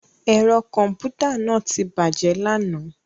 Ẹ̀rọ kọ̀m̀pútà náà ti bàjẹ́ lánàá